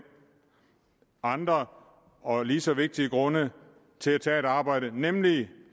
andre og lige så vigtige grunde til at tage et arbejde nemlig